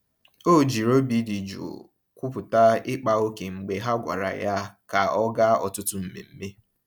O jiri obi dị jụụ kwupụta ịkpa ókè mgbe ha gwara ya ka ọ gaa ọtụtụ mmemme.